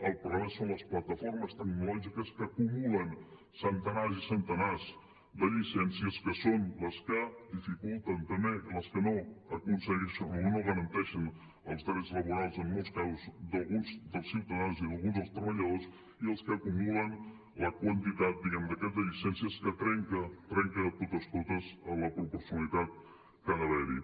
el problema són les plataformes tecnològiques que acumulen centenars i centenars de llicències que són les que dificulten també les que no garanteixen els drets laborals en molts casos d’alguns dels ciutadans i d’alguns dels treballadors i els que acumulen la quantitat diguem ne de llicències que trenca de totes totes la proporcionalitat que ha d’haver hi